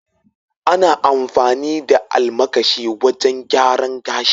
ana amfani da almakashi wajen gyaran gashi.l